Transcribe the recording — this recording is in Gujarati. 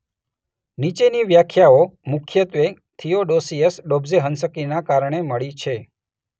નીચેની વ્યાખ્યાઓ મુખ્યત્વે થીઓડોસિયસ ડોબ્ઝેહન્સ્કીના કારણે મળી છે.